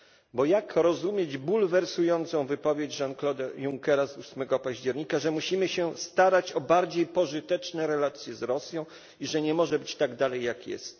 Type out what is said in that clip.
Bo jak rozumieć bulwersującą wypowiedź Jean Claude'a Junckera z 8 października, że musimy się starać o bardziej pożyteczne relacje z Rosją i że nie może być dalej tak, jak jest?